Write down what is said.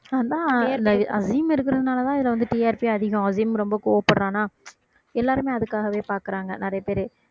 அதான் அந்த அஸீம் இருக்குறதுனாலதான் இது வந்து TRP அதிகம் அஸீம் ரொம்ப கோவப்படறானா எல்லாருமே அதுக்காகவே பாக்குறாங்க நிறைய பேரு